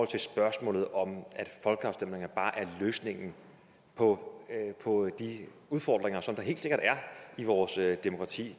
til spørgsmålet om folkeafstemninger bare er løsningen på de udfordringer som der helt sikkert er i vores demokrati